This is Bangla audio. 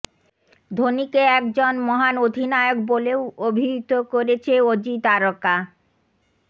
ধোনিকে একজন মহান অধিনায়ক বলেও অভিহিত করেছে অজি তারকা